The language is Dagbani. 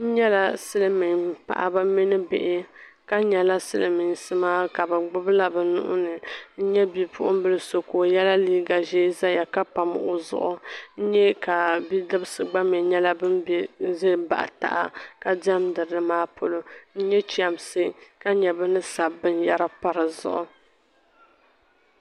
N nya silimiim paɣiba mini bihi ka nyala silimiinsi maa ka bɛ gbibila bɛ nuhi ni n nya bipuɣimbila so ka o yɛla liiga ʒee zaya ka pami o zuɣu n nya ka bidibisi gba mi nyɛla ban za m-baɣi taha ka diɛmda nimaa polo n nya chɛmsi ka nya bɛ ni sabi binyɛra pa di zuɣu.